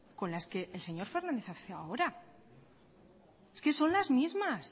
con las que el señor fernández hace ahora es que son las mismas